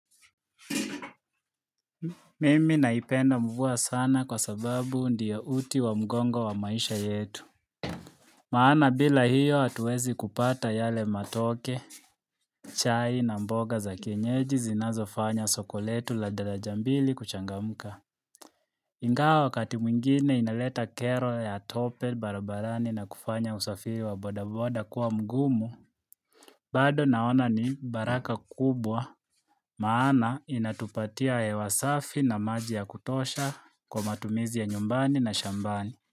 Mimi naipenda mvua sana kwa sababu ndio uti wa mgongo wa maisha yetu Maana bila hiyo atuwezi kupata yale matoke chai na mboga za kienyeji zinazofanya soko letu la daraja mbili kuchangamka ingawa wakati mwingine inaleta kero ya tope barabarani na kufanya usafiri wa bodaboda kuwa mgumu bado naona ni baraka kubwa Maana inatupatia hewa safi na maji ya kutosha kwa matumizi ya nyumbani na shambani.